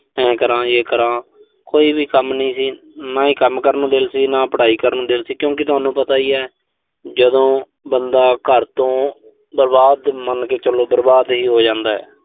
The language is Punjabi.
ਤੇ ਆਏਂ ਕਰਾਂ ਯੇ ਕਰਾਂ। ਕੋਈ ਵੀ ਕੰਮ ਨੀਂ ਸੀ। ਨਾ ਹੀ ਕੰਮ ਕਰਨ ਨੂੰ ਦਿਲ ਸੀ, ਨਾ ਹੀ ਪੜਾਈ ਕਰਨ ਨੂੰ ਦਿਲ ਸੀ, ਕਿਉਂਕਿ ਤੁਹਾਨੂੰ ਪਤਾ ਈ ਐ। ਜਦੋਂ ਬੰਦਾ ਘਰ ਤੋਂ ਬਰਬਾਦ, ਮੰਨ ਕੇ ਚੱਲੋ ਵੀ ਬਰਬਾਦ ਹੀ ਹੋ ਜਾਂਦਾ।